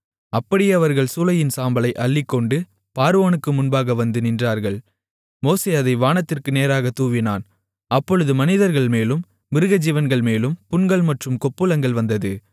அப்படியே அவர்கள் சூளையின் சாம்பலை அள்ளிக்கொண்டு பார்வோனுக்கு முன்பாக வந்து நின்றார்கள் மோசே அதை வானத்திற்கு நேராக தூவினான் அப்பொழுது மனிதர்மேலும் மிருகஜீவன்கள்மேலும் புண்கள் மற்றும் கொப்புளங்கள் வந்தது